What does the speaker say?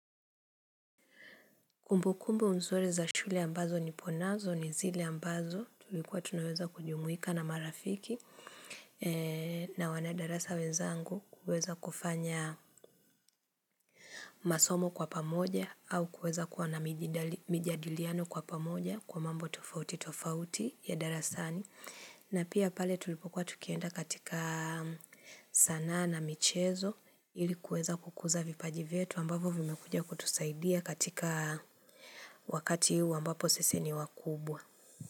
Kumbukumbu mzuri za shule ambazo niponazo ni zile ambazo tulikuwa tunaweza kujumwika na marafiki na wanadarasa wezangu kuweza kufanya masomo kwa pamoja au kuweza kuwa na mijadiliano kwa pamoja kwa mambo tofauti tofauti ya darasani. Na pia pale tulipokuwa tukienda katika sanaa na michezo ili kuweza kukuza vipaji vyetu ambavyo vimekuja kutusaidia katika wakati huu ambapo sisi ni wakubwa.